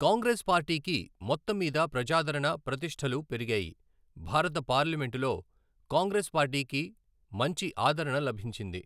కాంగ్రెస్ పార్టీకి మొత్తం మీద ప్రజాదరణ, ప్రతిష్ఠలు పెరిగాయి. భారత పార్లమెంటులో కాంగ్రెస్ పార్టీకి మంచి ఆదరణ లభించింది.